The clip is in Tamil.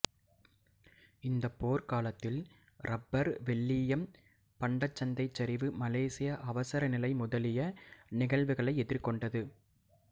இந்தப் போர்க் காலத்தில் இரப்பர் வெள்ளீயம் பண்டச்சந்தைச் சரிவு மலேசிய அவசரநிலை முதலிய நிகழ்வுகளை எதிர்கொண்டது